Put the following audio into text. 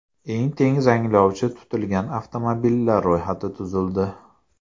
Eng tez zanglovchi tutilgan avtomobillar ro‘yxati tuzildi.